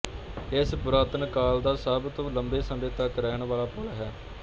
ਇਹ ਪੁਰਾਤਨ ਕਾਲ ਦਾ ਸਭ ਤੋਂ ਲੰਬੇ ਸਮੇਂ ਤੱਕ ਰਹਿਣ ਵਾਲਾ ਪੁੱਲ ਹੈ